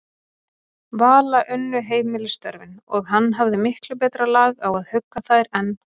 Vala unnu heimilisstörfin, og hann hafði miklu betra lag á að hugga þær en